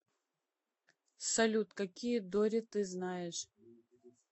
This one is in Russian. салют какие дори ты знаешь